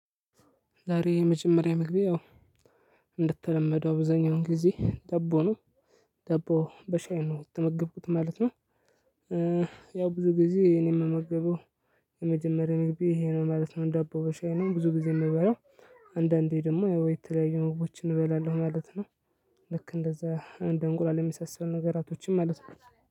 ዛሬ የመጀመሪያ ምግቤ እንደተለመደው አብዙኛውን ጊዜ ዳቦ ነው ዳቦ በሻይ ነው የተመገብኩት ማለት ነው። ያው ብዙ ጊዜ እኔ የምመገበው የመጀመሪያ ይሄ ነው ማለት ነው። ዳቦ በሻይ ነው ብዙ ጊዜ የምበላው አንዳንዴ ደግሞ ያው ወይ የተለያዩ ምግቦችን እንበላለሁ ማለት ነው። ልክ እንደዛ እንደ እንቁላል የሚሳሰሉ ነገራቶችን ማለት ነው